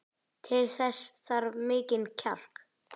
Til þess þarf mikinn kjark.